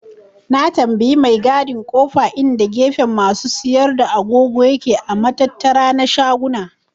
Na tambaye mai gadin kofa inda gefen masu siyar da agogo yake a matattara na shaguna.